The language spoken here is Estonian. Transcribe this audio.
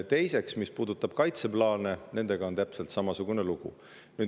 Teiseks, mis puudutab kaitseplaane, siis nendega on täpselt samasugune lugu.